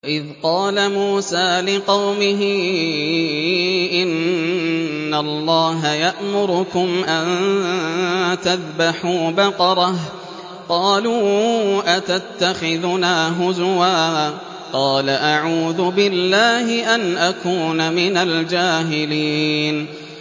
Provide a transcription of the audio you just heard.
وَإِذْ قَالَ مُوسَىٰ لِقَوْمِهِ إِنَّ اللَّهَ يَأْمُرُكُمْ أَن تَذْبَحُوا بَقَرَةً ۖ قَالُوا أَتَتَّخِذُنَا هُزُوًا ۖ قَالَ أَعُوذُ بِاللَّهِ أَنْ أَكُونَ مِنَ الْجَاهِلِينَ